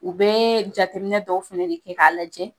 U bɛɛ jateminɛ dɔw fɛnɛ de kɛ k'a lajɛ